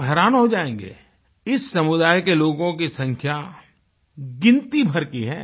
आप हैरान हो जायेंगे इस समुदाय के लोगों की संख्या गिनती भर की है